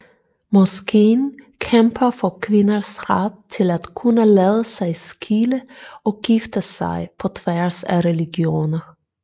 Moskeen kæmper for kvinders ret til at kunne lade sig skille og gifte sig på tværs af religioner